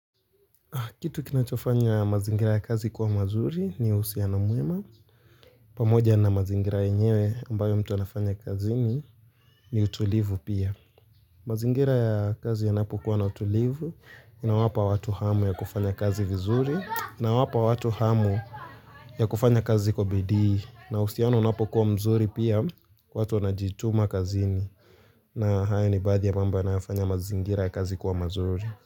Kitu kinachofanya mazingira ya kazi kuwa mazuri ni uhusianoana mwema. Pamoja na mazingira yenyewe ambayo mtu anafanya kazini ni utulivu pia. Mazingira ya kazi yanapokuwa na utulivu na wapa watu hamu ya kufanya kazi vizuri na wapa watu hamu ya kufanya kazi kwa bidii na uhusiano unapokuwa mzuri pia watu anajituma kazini na haya ni badhi ya mambo yanayofanya mazingira ya kazi kuwa mazuri.